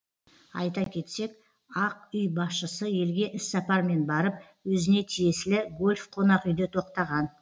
айта кетсек ақ үй басшысы елге іссапармен барып өзіне тиесілі гольф қонақүйде тоқтаған